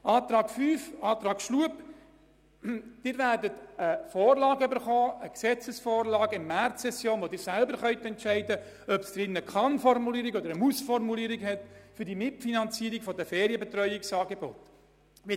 Zum Antrag von Grossrat Schlup, der Planungserklärung 5: Sie werden in der Märzsession eine Gesetzesvorlage erhalten und selber entscheiden können, ob im Gesetz eine Kann- oder eine Muss-Formulierung zur Mitfinanzierung der Ferienbetreuungsangebote stehen soll.